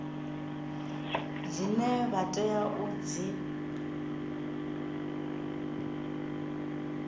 dzine vha tea u dzi